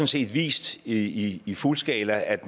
set vist i i fuld skala at